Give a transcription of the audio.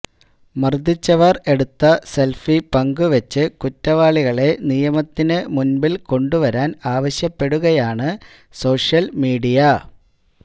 മർദ്ദിച്ചവർ എടുത്ത സെൽഫി പങ്കുവച്ച് കുറ്റവാളികളെ നിയമത്തിനു മുൻപിൽ കൊണ്ടുവരാൻ ആവശ്യപ്പെടുകയാണ് സോഷ്യൽമീഡിയ